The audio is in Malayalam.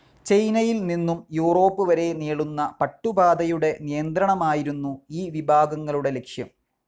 ചൈനയിൽ നിന്നും യൂറോപ്പ് വരേ നീളുന്ന പട്ടുപാതയുടെ നിയന്ത്രണമായിരുന്നു ഈ വിഭാഗങ്ങളുടെ ലക്ഷ്യം.